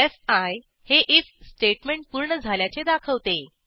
fee हे IF statement पूर्ण झाल्याचे दाखवते